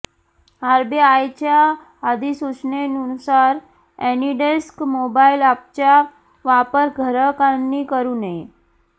आरबीआयच्या अधिसूचनेनुसार AnyDesk mobile अॅपचा वापर ग्राहकांनी करु नये